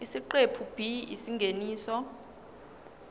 isiqephu b isingeniso